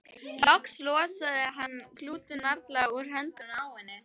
Loks losaði hann klútinn varlega úr höndunum á henni.